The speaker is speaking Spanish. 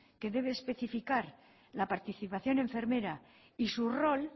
que debe especificar la participación enfermera y su rol